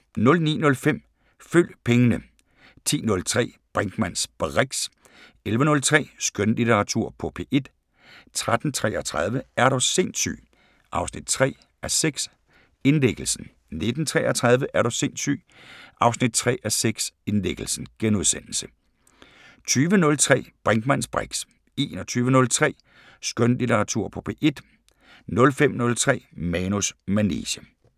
09:05: Følg pengene 10:03: Brinkmanns briks 11:03: Skønlitteratur på P1 13:33: Er du sindssyg 3:6 – Indlæggelsen 19:33: Er du sindssyg 3:6 – Indlæggelsen * 20:03: Brinkmanns briks 21:03: Skønlitteratur på P1 05:03: Manus manege